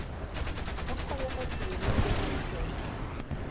Okonyo e chulo nengo mar somo.